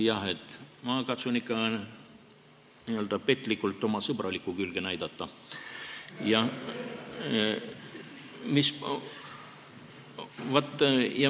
Jah, ma katsun ikka n-ö petlikult oma sõbralikku külge näidata.